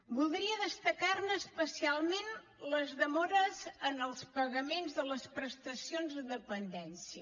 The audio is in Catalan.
voldria destacar ne especialment les demores en els pagaments de les prestacions de dependència